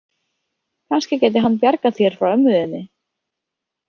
Kannski gæti hann bjargað þér frá ömmu þinni.